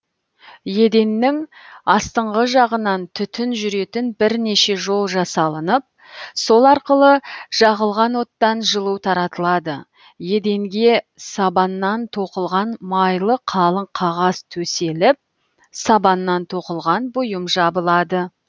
еденнің астыңғы жағынан түтін жүретін бірнеше жол жасалынып сол арқылы жағылған оттан жылу таратылады еденге сабаннан тоқылған майлы қалың қағаз төселіп сабаннан тоқылған бұйым жабылады